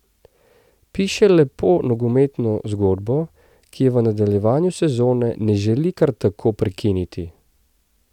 Piše lepo nogometno zgodbo, ki je v nadaljevanju sezone ne želi kar tako prekiniti.